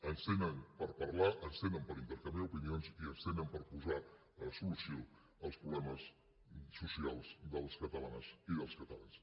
ens tenen per parlar ens tenen per intercanviar opinions i ens tenen per posar solució als problemes socials de les catalanes i dels catalans